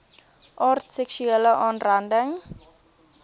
aard seksuele aanranding